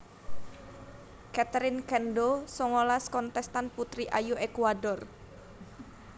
Catherine Cando songolas kontèstan putri ayu Ékuador